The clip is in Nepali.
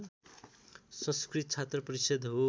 संस्कृत छात्रपरिषद् हो